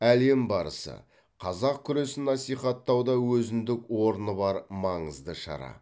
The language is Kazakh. әлем барысы қазақ күресін насихаттауда өзіндік орны бар маңызды шара